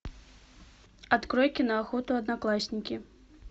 открой киноохоту одноклассники